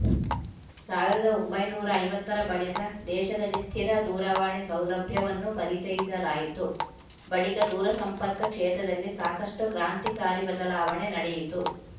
ಸಾವಿರದ ಒಂಬೈನೂರ ಐವತ್ತರ ಬಳಿಕ ದೇಶದಲ್ಲಿ ಸ್ಥಿರ ದೂರವಾಣಿ ಸೌಲಭ್ಯವನ್ನು ಪರಿಚಯಿಸಲಾಯಿತು ಬಳಿಕ ದೂರಸಂಪರ್ಕ ಕ್ಷೇತ್ರದಲ್ಲಿ ಸಾಕಷ್ಟುಕ್ರಾಂತಿಕಾರಿ ಬದಲಾವಣೆ ನಡೆಯಿತು